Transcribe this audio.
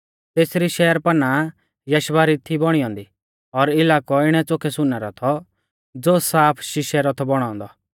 तेसरी शहरपनाह यशबा री थी बौणी औन्दी और इलाकौ इणै च़ोखै सुनै रौ थौ ज़ो साफ शिशै रौ थौ बौणौ औन्दौ